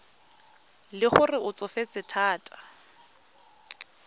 le gore o tsofetse thata